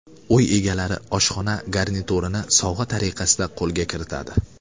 Uy egalari oshxona garniturini sovg‘a tariqasida qo‘lga kiritadi.